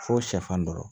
Fo sɛfan dɔrɔn